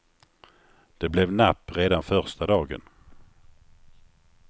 Det blev napp redan första dagen.